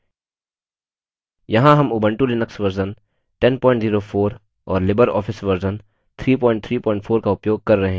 यहाँ हम Ubuntu Linux version 1004 और लिबरऑफिस वर्जन 334 का उपयोग कर रहे हैं